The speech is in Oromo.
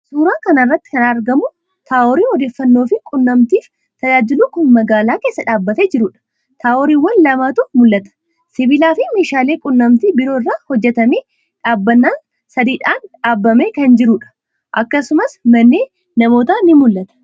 Suuraa kana irratti kan argamu taaworii odeeffannoofi quunnamtiif tajaajilu kan magaalaa keessa dhaabbatee jiruudha. Taaworiiwwan lamatu mul'ata. Sibiilaafi meeshaalee quunnamtii biroo irraa hojjetamee dhaabbannaa sadiidhaan dhaabamee kan jiruudha. Akkasumas manneen namootaa ni mul'ata.